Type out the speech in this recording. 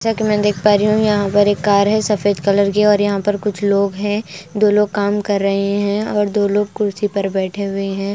जैसा कि मैं देख पा रही हूँ यहाँ पर एक कार है सफ़ेद कलर की और यहाँ पर कुछ लोग हैं दो लोग काम कर रहे हैं और दो लोग कुर्सी पर बैठे हुए हैं।